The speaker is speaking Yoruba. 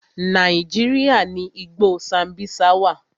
Nàíjíríà ni igbó Sambisa wà.